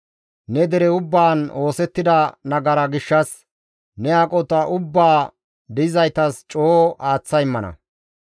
Ne dere ubbaan oosettida nagara gishshas ne aqota ubbaa di7izaytas coo aaththa immana.